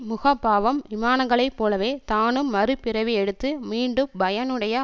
முகபாவம் விமானங்களை போலவே தானும் மறுபிறவி எடுத்து மீண்டும் பயனுடைய